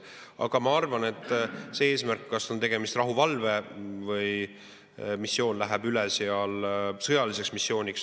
Aga ma arvan, et eesmärk: kas on tegemist rahuvalvega või missiooniga, mis läheb üle sõjaliseks missiooniks.